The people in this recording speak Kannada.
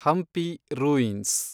ಹಂಪಿ ರೂಯಿನ್ಸ್